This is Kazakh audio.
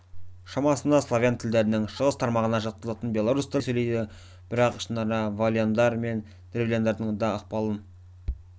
шамасында славян тілдерінің шығыс тармағына жатқызылатын белорус тілінде сөйлейді бірақ ішінара волыняндар мен древляндардың да ықпалын